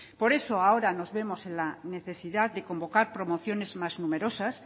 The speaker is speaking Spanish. por eso ahora nos vemos en la necesidad de convocar promociones más numerosas